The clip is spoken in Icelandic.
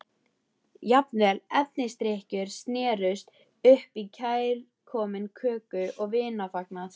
Jafnvel erfisdrykkjur snerust upp í kærkominn köku- og vinafagnað.